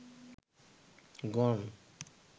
গণ